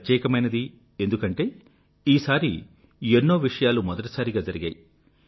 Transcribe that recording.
ప్రత్యేకమైనది ఎందుకంటే ఈసారి ఎన్నో విషయాలు మెదటిసారిగా జరిగాయి